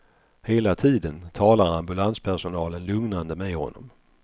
Hela tiden talar ambulanspersonalen lugnande med honom.